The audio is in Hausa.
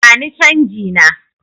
Bani canji na!